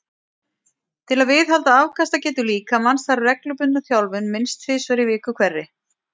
Til að viðhalda afkastagetu líkamans þarf reglubundna þjálfun minnst tvisvar í viku hverri.